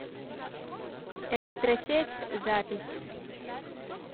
электросеть запись